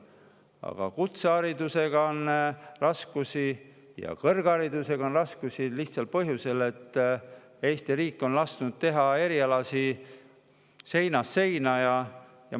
Aga kutseharidusega ja kõrgharidusega on raskusi lihtsal põhjusel, et Eesti riik on lasknud teha erialasid seinast seina.